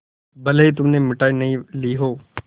भले ही तुमने मिठाई नहीं ली हो